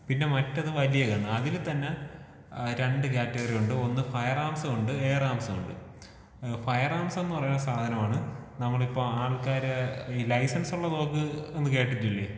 പിന്നെ മറ്റത് വലിയ ഗണ്ണ് ആ ആ അതില് തന്നെ രണ്ട് കാറ്റഗറി ഉണ്ട് ഒന്ന് ഫയർ ആർമ്സുമുണ്ട്, എയർ ആർമ്സുമുണ്ട്. ഏഹ് ഫയർ ആർമ്സ് എന്ന് പറയുന്ന സാധനമാണ് നമ്മളിപ്പൊ ആൾക്കാര് ഈ ലൈസൻസ് ഉള്ള തോക്ക് എന്ന് കേട്ടിട്ടില്ലേ?